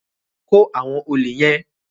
Kó àwọn òlè yẹ́n!